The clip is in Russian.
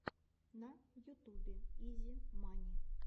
на ютубе изи мани